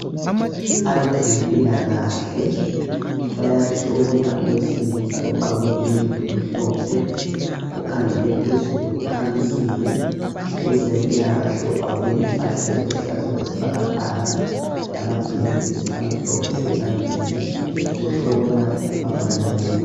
Abezempilakahle bayahlola owesilisa ogqoke iyembe emhlophe ukhangele phezulu ukhamisile . Owezempilakahle ogqoke impahla eziluhlaza okwesibhakabhaka lamagilovisi amhlophe ezandleni uhlola ubaba lowu .